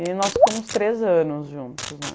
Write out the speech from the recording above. E nós ficamos três anos juntos, né?